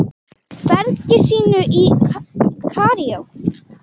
bergi sínu í Kaíró.